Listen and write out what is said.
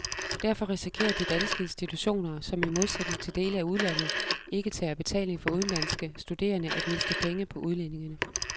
Derfor risikerer de danske institutioner, som i modsætning til dele af udlandet ikke tager betaling for udenlandske studerende, at miste penge på udlændingene.